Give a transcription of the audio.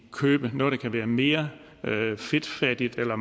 købe noget der kan være mere fedtfattigt eller